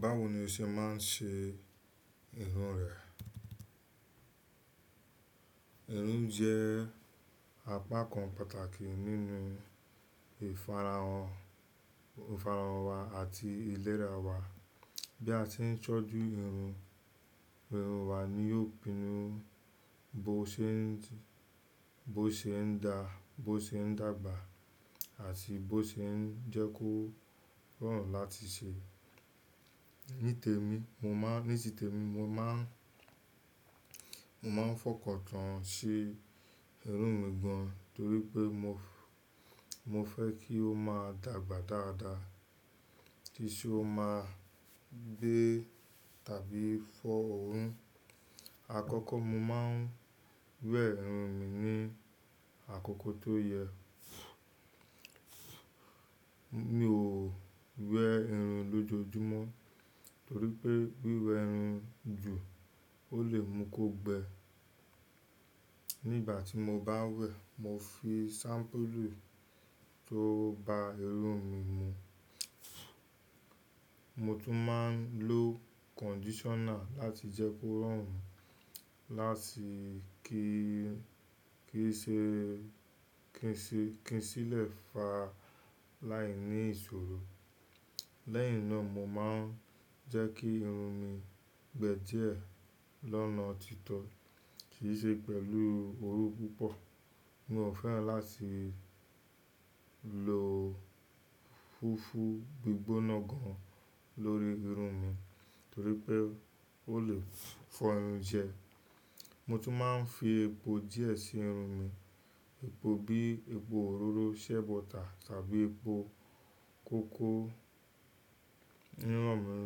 Báwo ni o ṣe máa ń ṣe irun rẹ? Irun jẹ́ apakan pàtàkì nínú ìfara-hàn, ìfarahàn wa àti ìlera wa. Bí a ṣe ń tọ́jú irun, irun wa ni yóò pinnu bó ṣe ń dá, bó ṣe ń dàgbà àti bó ṣe ń jẹ́ kí ó rọrùn láti ṣe. Nítẹ̀mí, mo máa, nítitèmi mo máa ń, mo máa ń fọkàn tán sí irun mi gan, torí pé mo, mo fẹ́ kí ó máa dàgbà dáadáa. Kí i ṣe ó máa gbé tàbí fọ́ òun. Àkọ́kọ́ mo máa ń wẹ̀ irun mi ní àkókò tó yẹ. Mi ò wẹ̀ irun lójoojúmọ́ torí pé wíwẹ̀ irun jù ó lè mú kó gbẹ. Nígbàtí mo bá wẹ̀, mo fi ṣampulu tó bá irun mi mu. Mo tún máa ń lo kondisona láti jẹ́ kó rọrùn, láti kí, kíi ṣe, kíi ṣe, kí í sì lè fa láìní ìṣòro. Lẹ́yìn náà mo máa ń jẹ́ kí irun mi gbẹ díẹ̀ lọ́nà títọ́ kì í ṣe pẹ̀lú oru púpọ̀. Mi ò fẹ́ràn láti lo fufu gbígbóná gan lórí irun mi torípé ó lè fọ irun jẹ́. Mo tún máa ń fi epo díẹ̀ sí irun mi. Epo bí epo òróró, shea butter tàbí epo kókò. Ìrọrùn mi,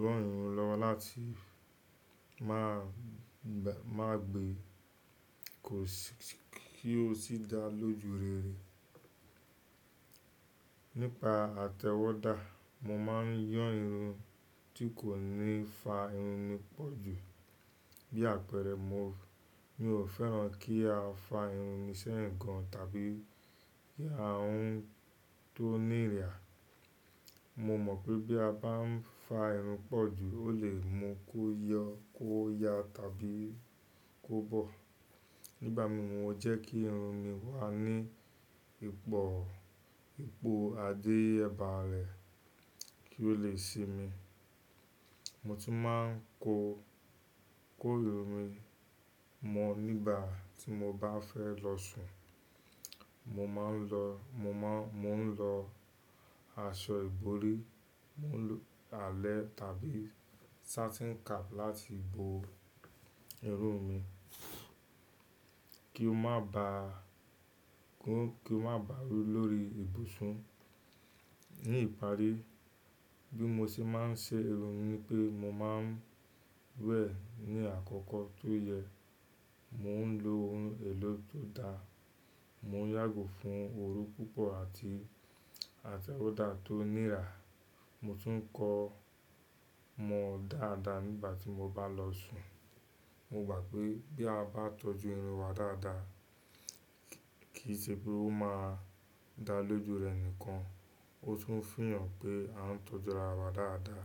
rọ̀ irun lọ́wọ́ láti máa gbé, má gbé, kí ó sì dá lójúrere. Nípa àtẹ̀wọ́dá, mo má ń yan irun tí kò ní fa irun mi pọ̀ jù. Bí àpẹẹrẹ, mi ò fẹ́ràn kí a fa irun mi sẹ́yìn gan tàbí kí a hun tó nira. Mo mọ̀ pé bí a bá ń fa irun pọ̀ jù, ó lè mú kó yọ, kó ya tàbí kó bọ̀. Nígbàmìí mo jẹ́ kí irun mi wà ní ipò ipò àdé ẹ̀bà rẹ̀ kí ó lè sinmi. Mo tún máa ń kó, kó irun mi mọ nígbà tí mo bá fẹ́ lọ sùn. Mo máa ń lọ, mo máa, mò ń lọ aṣọ ìborí, mò ń lo àlẹ̀ tàbí satin cap láti bo irun mi kí o má bá, kó, kí o má bà rún lórí ìbùsùn. Ní ìparí, bí mo ṣe má ń ṣe irun ni pé mo má ń wẹ̀ ní àkọ́kọ́ tó yẹ. Mo ń lo ohun èlò tó dá. Mo yàgò fún oru púpọ̀ àti, àti wẹ́dà tó nira. Mo tún ń kó mọ dáadáa nígbà tí mo bá lọ sùn. Mo gba pé bí a bá tọ́jú irun wa dáadáa, kì í ṣe pé ó máa dá lójú rẹ nìkan, ó tún fi hàn pé a ń tọ́jú ara wa dáadáa.